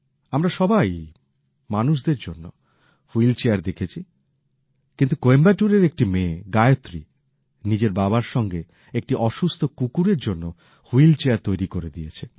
আমরা সবাই মানুষদের জন্য হুইলচেয়ার দেখেছি কিন্তু কোয়েম্বাটুরের একটি মেয়ে গায়ত্রী নিজের বাবার সঙ্গে একটি অসুস্থ কুকুরের জন্য হুইল চেয়ার তৈরি করে দিয়েছে